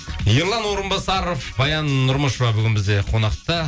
ерлан орынбасаров баян нұрмышева бүгін бізде қонақта